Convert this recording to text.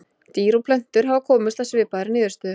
dýr og plöntur hafa komist að svipaðri niðurstöðu